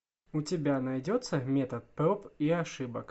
у тебя найдется метод проб и ошибок